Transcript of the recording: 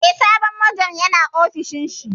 Eh, sabon Majon ya na ofishin shi